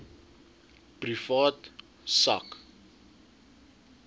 privaat sak